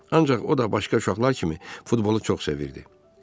Ancaq o da başqa uşaqlar kimi futbolu çox sevirdi.